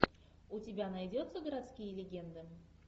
у тебя найдется городские легенды